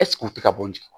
u tɛ ka bɔ n